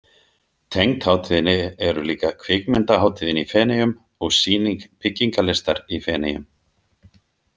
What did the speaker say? Tengd hátíðinni eru líka Kvikmyndahátíðin í Feneyjum og Sýning byggingarlistar í Feneyjum.